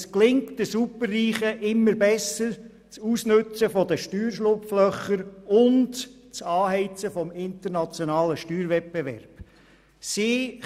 Den Superreichen gelingt das Ausnutzen von Steuerschlupflöchern und das Anheizen des internationalen Steuerwettbewerbs immer besser.